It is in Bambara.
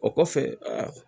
O kɔfɛ a